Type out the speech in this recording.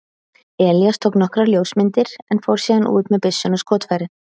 Elías tók nokkrar ljósmyndir en fór síðan út með byssuna og skotfærin.